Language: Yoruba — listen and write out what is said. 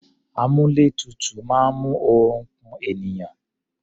Àmúlétutù máa ń mú oorun ku ènìyàn.